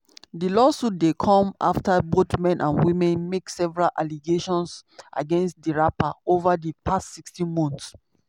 di lawsuit dey come afta both men and women make several allegations against di rapper ova di past 16 months.